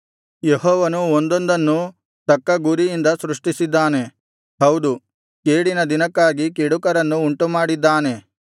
ಯೆಹೋವನು ಒಂದೊಂದನ್ನೂ ತಕ್ಕ ಗುರಿಯಿಂದ ಸೃಷ್ಟಿಸಿದ್ದಾನೆ ಹೌದು ಕೇಡಿನ ದಿನಕ್ಕಾಗಿ ಕೆಡುಕರನ್ನು ಉಂಟುಮಾಡಿದ್ದಾನೆ